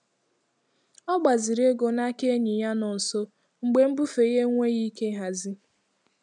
Ọ gbaziri ego n'aka enyi ya nọ nso mgbe mbufe ya enweghị ike ịhazi.